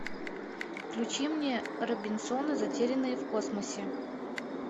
включи мне робинсоны затерянные в космосе